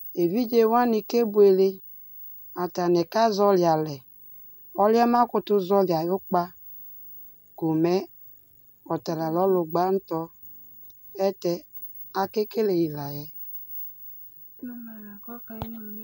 Evidze wani kebuele Atani kazɔli alɛ Ɔlʋ yɛ kʋ ɔbakʋtʋ zɔli ayʋ kpa ko mɛ ɔta la nʋ ɔlʋ gbantɔ Ayɛlʋtɛ, akekele yi la yɛ